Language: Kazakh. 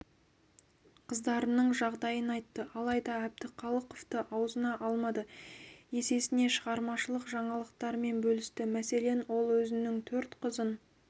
қыздарының жағдайын айтты алайда әбдіхалықовты аузына алмады есесіне шығармашылық жаңалықтарымен бөлісті мәселен ол өзінің төрт қызын